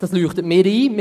Dies leuchtet mir ein.